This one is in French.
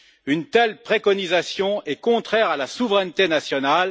Une telle préconisation est contraire à la souveraineté nationale.